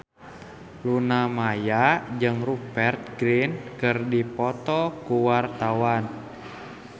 Luna Maya jeung Rupert Grin keur dipoto ku wartawan